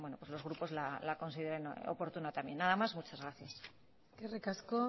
pues los grupos la consideran oportuna también nada más muchas gracias eskerrik asko